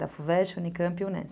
Da FUVEST, Unicamp e Unesp.